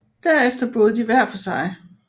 Derefter boede de hver for sig